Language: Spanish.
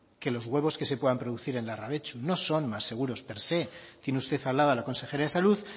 que los huevos que se puedan producir el larrabetzu per se tiene usted al lado a la consejera de salud